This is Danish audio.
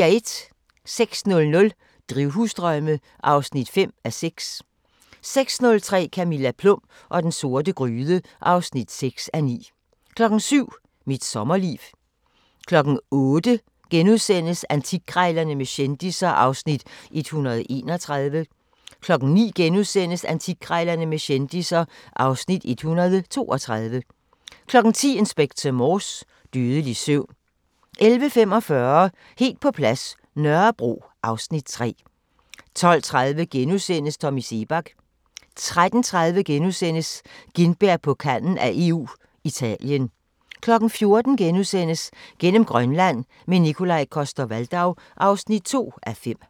06:00: Drivhusdrømme (5:6) 06:30: Camilla Plum og den sorte gryde (6:9) 07:00: Mit sommerliv 08:00: Antikkrejlerne med kendisser (Afs. 131)* 09:00: Antikkrejlerne med kendisser (Afs. 132)* 10:00: Inspector Morse: Dødelig søvn 11:45: Helt på plads – Nørrebro (Afs. 3) 12:30: Tommy Seebach * 13:30: Gintberg på kanten af EU – Italien * 14:00: Gennem Grønland – med Nikolaj Coster-Waldau (2:5)*